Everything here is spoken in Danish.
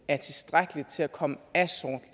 er tilstrækkeligt til at komme